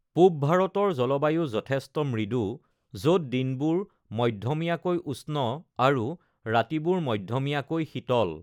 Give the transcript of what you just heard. পূব ভাৰতৰ জলবায়ু যথেষ্ট মৃদু য'ত দিনবোৰ মধ্যমীয়াকৈ উষ্ণ আৰু ৰাতিবোৰ মধ্যমীয়াকৈ শীতল।